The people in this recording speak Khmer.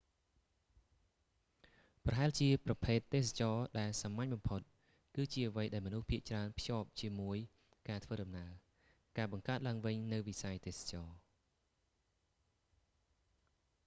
ប្រហែលជាប្រភេទ ទេសចរណ៍ដែលសាមញ្ញបំផុត គឺជាអ្វីដែលមនុស្សភាគច្រើនភ្ជាប់ជាមួយការធ្វើដំណើរ ការបង្កើតឡើងវិញនូវវិស័យទេសចរណ៍